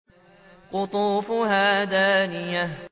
قُطُوفُهَا دَانِيَةٌ